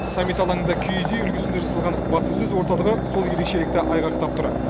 саммит алаңында киіз үй үлгісінде жасалған баспасөз орталығы сол ерекшелікті айғақтап тұр